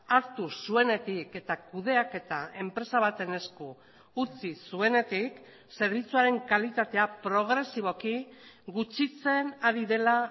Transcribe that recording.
hartu zuenetik eta kudeaketa enpresa baten esku utzi zuenetik zerbitzuaren kalitatea progresiboki gutxitzen ari dela